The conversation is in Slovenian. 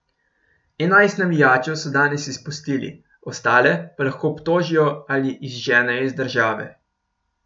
Enajst navijačev so danes izpustili, ostale pa lahko obtožijo ali izženejo iz države.